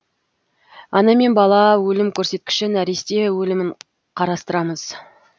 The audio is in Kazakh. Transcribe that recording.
ана мен бала өлім көрсеткіші нәресте өлімін қарастырамыз